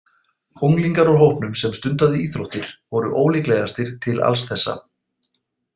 Unglingar úr hópnum sem stundaði íþróttir voru ólíklegastir til alls þessa.